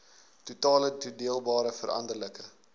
totale toedeelbare veranderlike